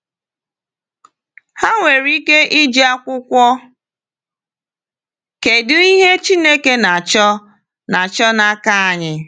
Ha nwere ike iji akwụkwọ “Kedụ Ihe Chineke Na-achọ Na-achọ N’aka Anyị?”